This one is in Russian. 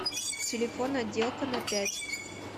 телефон отделка на пять